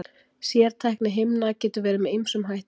Sértækni himna getur verið með ýmsum hætti.